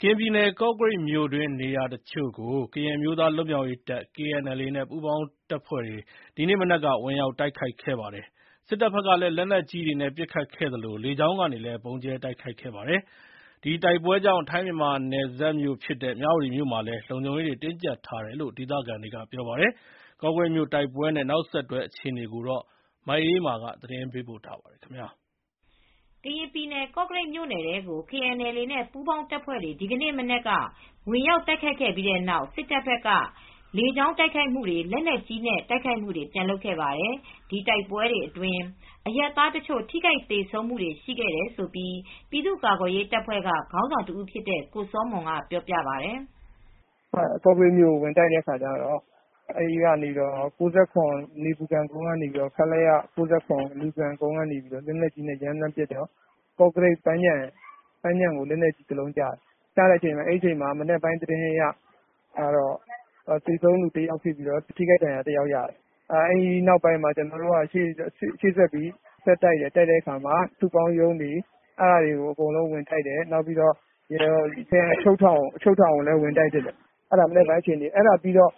ကရင်ပြည်နယ် ကော့ကရိတ်မြို့တွင်း နေရာတချို့ကို ကရင်အမျိုးသား လွတ်မြောက်ရေးတပ် KNLA နဲ့ ပူးပေါင်းတပ်ဖွဲ့တွေ ဒီနေ့မနက်က ဝင်ရောက်တိုက်ခိုက်ခဲ့ပါတယ်။ စစ်တပ်ဘက်ကလည်း လက်နက်ကြီးတွေနဲ့ပစ်ခတ်သလို လေကြောင်းကနေ ဗုံးကြဲတိုက်ခိုက်ခဲ့ပါတယ်။ ဒီတိုက်ပွဲကြောင့် ထိုင်းမြန်မာနယ်စပ် မြဝတီမြို့မှာလည်းလုံခြုံရေးတွေ တင်းကြပ်ထားတယ်လို့ ဒေသခံတွေက ပြောပါတယ်။ ကော့ကရိတ်မြို့ တိုက်ပွဲနဲ့ နောက်ဆက်တွဲအခြေအနေ မအေးအေးမာ သတင်းပေးပို့ထားပါတယ်။ ကရင်ပြည်နယ် ကော့ကရိတ်မြို့ထဲကို KNLA နဲ့ ပူးပေါင်းတပ်ဖွဲ့တွေ ဒီနေ့မနက်က ဝင်ရောက်တိုက်ခိုက်ခဲ့တဲ့ပြီးတဲ့နောက် စစ်တပ်ဘက်က လေကြောင်းကရော လက်နက်ကြီးတွေနဲ့ပါ ပြန်ပြီးတိုက်ခိုက်ခဲ့ပါတယ်။ ဒီတိုက်ပွဲတွေအတွင်း အရပ်သားတချို့ ထိခိုက်သေဆုံးခဲ့တယ်လို့ ပြည်သူ့ကာကွယ်ရေးတပ်ဖွဲ့ကခေါင်းဆောင်တဦးဖြစ်တဲ့ကိုစောမွန်ကပြောပါတယ်။ “ကော့ကရိတ်မြို့ကိုဝင်တိုက်တဲ့အခါကျတော့ အဲဒီကနေ ခလရ နေပူခံကုန်းကနေ လက်နက်ကြီးနဲ့ရမ်းသမ်းပစ်တော့ ကောကရိတ်ပန်းခြံကိုလက်နက်ကြီးတလုံးကျတယ်။ မနက်ပိုင်းကတော့ သေဆုံးသူတယောက်ဖြစ်ပြီး လက်နက်ကြီးနဲ့ ဒဏ်ရာရသူတယောက်ရှိတယ်။ အဲဒီကနေ ကျနော်တို့ဘက်က ရှေ့ဆက်ပြီး ဆက်တိုက်တယ် တိုက်တဲ့အခါမှာ စုပေါင်းရုံးတွေကိုအဲဒါတွေကို ဝင်တိုက်တယ်။ ခရိုင်အချုပ်ထောင်ကိုလည်း ဝင်တိုက်တယ်။ အဲဒါက မနက်ပိုင်းကအခြေအနေပါ။ အဲဒါပြီးတော့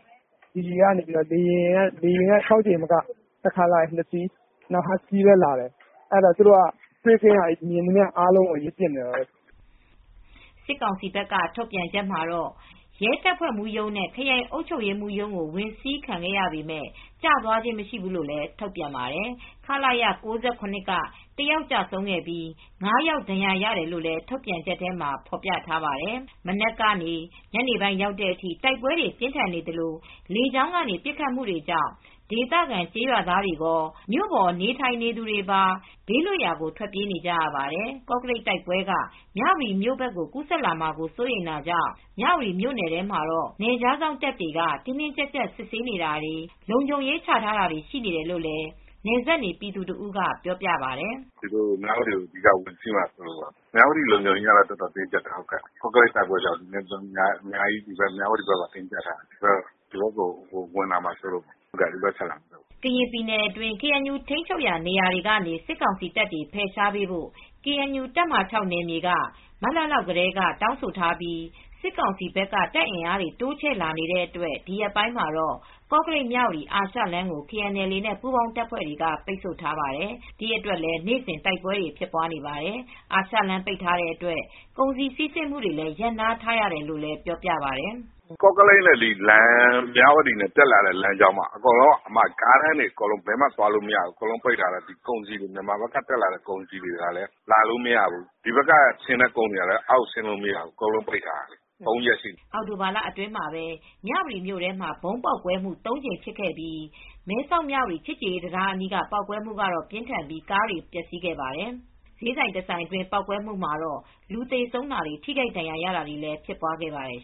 လေယာဉ် ၆ ကြိမ်မကဘူး။ တခါလာရင် နှစ်စီးလာတယ်။ ဟတ်စကီးလည်းလာတယ်။ သူတို့က မြင်သမျှကိုပစ်နေတာပေါ့။” စစ်ကောင်စီဘက်က ထုတ်ပြန်ချက်မှာတော့ ရဲတပ်ဖွဲ့မှူးရုံးနဲ့ ခရိုင်အုပ်ချုပ်ရေးမှူးရုံးတို့ ဝင်စီးခံရပေမယ့် ကျသွားခြင်း မရှိဘူးလို့ ထုတ်ပြန်ပါတယ်။ ခလရ ၉၇ က ၁ ယောက်ကျဆုံးပြီး ၅ ယောက်ဒဏ်ရာရတယ်လို့ ထုတ်ပြန်ချက်ထဲမှာ ပြောထားပါတယ်။ ပြင်းထန်တဲ့တိုက်ပွဲတွေဟာ မနက်ကနေ ညနေပိုင်းအထိဖြစ်ခဲ့ပြီး လေကြောင်းတိုက်ခိုက်မှုကြောင့် ဒေသခံကျေးရွာသားတွေကော မြို့ပေါ်နေထိုင်နေသူတွေပါ ဘေးလွတ်ရာကိုထွက်ပြေးနေကြရပါတယ်။ ကော့ကရိတ်တိုက်ပွဲက မြဝတီမြို့ဘက်ကိုကူးစက်လာမှာစိုးရိမ်တာကြောင့် မြဝတီမြို့နယ်ထဲမှာ နယ်ခြားစောင့်တပ်တွေက တင်းတင်းကြပ်ကြပ် စစ်ဆေးနေပြီး လုံခြုံရေးချထားတယ်လို့လည်း နယ်စပ်နေပြည်သူတဦးက ပြောပြပါတယ်။ “ မြဝတီကိုဝင်စီးမှာစိုးလို့ မြဝတီလုံခြုံရေးကတော့အတော်ကိုတင်းကြပ်နေတယ်။ ကော့ကရိတ်တိုက်ပွဲကြောင့် မြဝတီဘက်ကိုအတော်တင်းကြပ်နေတယ်။ ဒီဘက်ကို ဝင်လာမှာစိုးတာကြောင့်ပါ ဒီဘက်ကိုတက်လာမှာစိုးလို့။” ကရင်ပြည်နယ်အတွင်း KNU ထိန်းချုပ်နယ်မြေတွေကနေ စစ်ကောင်စီတပ်တွေ ဖယ်ရှားပေးဖို့ KNU တပ်မဟာ က မတ်လလောက်ကတည်းက တောင်းဆိုထားပြီး စစ်ကောင်စီဘက်က တပ်အင်အားတွေတိုးချဲ့လာနေတဲ့အတွက် ကော့ကရိတ်-မြဝတီအာရှလမ်းကို KNLA နဲ့ ပူးပေါင်းတပ်ဖွဲ့တွေက အခုရက်ပိုင်း ပိတ်ဆို့ထားတာကြောင့် နေ့စဉ် ထိတွေ့တိုက်ပွဲတွေဖြစ်နေပါတယ်။ အာရှလမ်းပိတ် ထားတဲ့အတွက် ကုန်စည်စီးဆင်းမှုတွေ ရပ်နားထားရတယ်လို့လည်းပြောပြပါတယ်။ “ ကော့ကရိတ်နဲ့ မြဝတီတက်လာတဲ့လမ်းကြောင်းက ကားလမ်းတွေဘယ်ဘက်မှသွားလို့မရဘူး။ မြန်မာဘက်က ကုန်စည်တွေကလည်းလာလို့မရဘူး။ ဒီဘက်မြဝတီဘက်ကသွားတဲ့ကုန်စည်တွေကလည်း သွားလို့မရဘူး။ ၃ ရက်ရှိပြီ။” အောက်တိုဘာလအတွင်းမှာပဲမြဝတီမြို့ထဲမှာ ဗုံးပေါက်ကွဲှမူ့ ၃ကြိမ်ဖြစ်ခဲ့ပြီး မဲဆောက်မြဝတီချစ်ကြည်ရေးတံတားအနီးပေါက်ကွဲမူ့ကတော့ပြင်းထန်ပြီး ကားတွေ ပျက်စီးခဲ့ပါတယ် ဈေးဆိုင်တဆိုင်အတွင်းပေါက်ကွဲမူ့မှာတော့လူသေဆုံးတာ ထိခိုက်ဒဏ်ရာရတာတွေဖြစ်ပွားခဲ့ပါတယ်